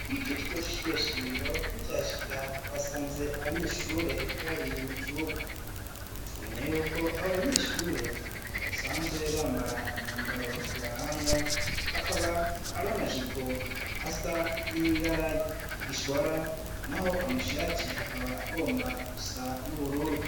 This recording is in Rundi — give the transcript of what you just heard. Muri ico kigo c'ishure shingiro tucyashika twasanze abanyeshure bari mu kibuga amenya yuko abo banyeshure basanzwe bambara imyambaro ibaranga akaba ari amajipo asa n'ibaragigishwara naho amashati akaba agomba gusa n'ubururu.